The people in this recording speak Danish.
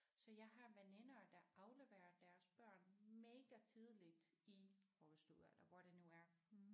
Så jeg har veninder der afleverer deres børn mega tidligt i vuggestue eller hvor det nu er